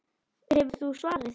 Hefur þú svarið?